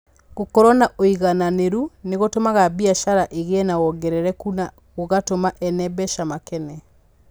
Gũkorũo na ũigananĩru nĩ gũtũmaga biacara ĩgĩe na wongerereku na gũgatũma ene mbeca makene.